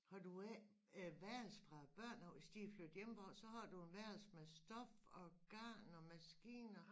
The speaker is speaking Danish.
Har du ikke et værelse fra børnene af hvis de flyttet hjemmefra så har du en værelse med stof og garn og maskiner